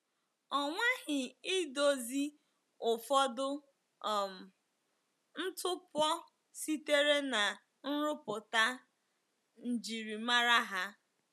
Ọ nwaghị idozi ụfọdụ um ntụpọ sitere na-nrụpụta ’ njirimara ha.'